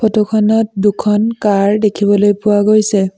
Photo খনত দুখন car দেখিবলৈ পোৱা গৈছে।